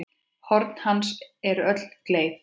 Horn hans eru öll gleið.